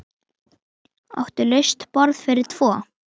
Áttu laust borð fyrir tvo?